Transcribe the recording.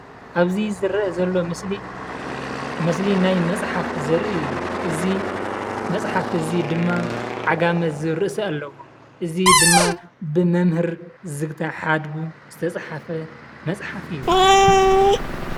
ኣብዚ ዝረአ ዘሎ ምስሊ ምስሊ ናይ መፅሓፍ ዘርኢ እዩ፡፡ እዚ መፅሓፍ እዚ ድማ "ዓጋመ" ዝብል ኣለዎ እዚ ድማ ብመምህር ዝግታ ሓድጉ ዝተፃሓፈ መፅሓፍ እዩ፡፡